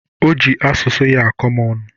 O ji asụsụ ya akọ m ọnụ